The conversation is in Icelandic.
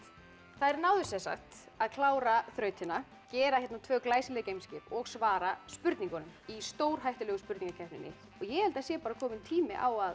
þær náðu að klára þrautina gera tvö glæsileg geimskip og svara spurningunum í stórhættulegu spurningakeppninni ég held að sé kominn tími á að